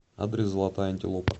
адрес золотая антилопа